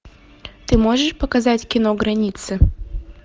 ты можешь показать кино границы